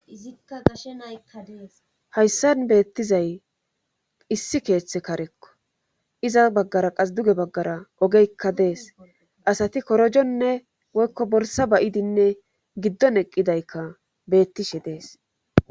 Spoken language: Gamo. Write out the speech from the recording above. Izikka gashe naykka dees hayssan beettizay issi keeththe karekko iza baggara qas duge baggara ogeykka dees asati korojonne woykko bolsa bayidinne giddon eqqidaykka beettishe dees.